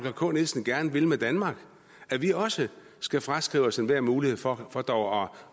k nielsen gerne vil med danmark at vi også skal fraskrive os enhver mulighed for for dog